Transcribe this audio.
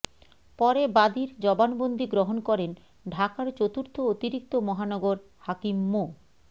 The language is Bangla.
পরে বাদীর জবানবন্দি গ্রহণ করেন ঢাকার চতুর্থ অতিরিক্ত মহানগর হাকিম মো